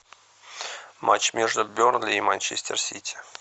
матч между бернли и манчестер сити